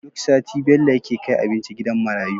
Duk sati Bello yake kai abinci gidan marayu